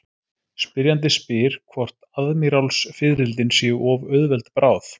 Spyrjandi spyr hvort aðmírálsfiðrildin séu of auðveld bráð.